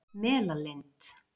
Melalind